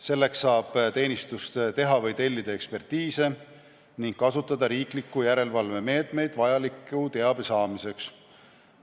Selleks saab teenistus teha või tellida ekspertiise ning kasutada riikliku järelevalve meetmeid vajaliku teabe saamiseks.